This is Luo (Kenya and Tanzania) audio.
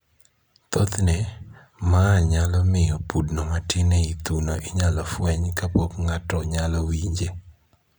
Thothne, ma nyalo miyo pudno matin ei thuno inyal fweny kapok ng'ato nyalo winje